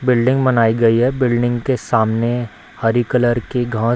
building बनाई गई है बिल्डिंग के सामने हरी कलर की घा --